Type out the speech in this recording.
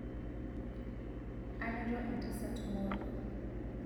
anoto entasat moruo